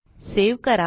save करा